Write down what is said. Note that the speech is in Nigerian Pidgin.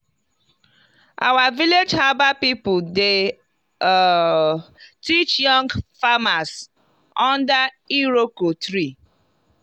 our village herbal people dey um teach young farmers under iroko tree.